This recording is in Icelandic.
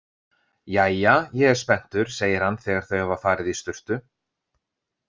Jæja, ég er spenntur, segir hann þegar þau hafa farið í sturtu.